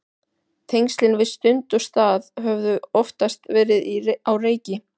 Tengslin við stund og stað höfðu oftast verið á reiki.